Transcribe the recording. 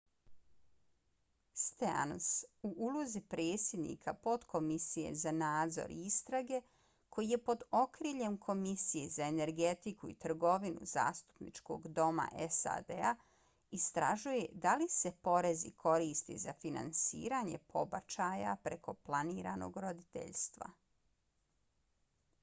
stearns u ulozi predsjednika potkomisije za nadzor i istrage koji je pod okriljem komisije za energetiku i trgovinu zastupničkog doma sad-a istražuje da li se porezi koriste za finansiranje pobačaja preko planiranog roditeljstva